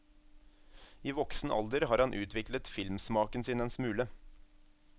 I voksen alder har han utviklet filmsmaken sin en smule.